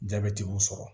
Jabɛti y'u sɔrɔ